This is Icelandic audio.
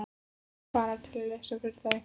Bara til að lesa fyrir þau.